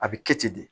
A bɛ kɛ ten de de